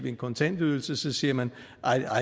en kontantydelse siger man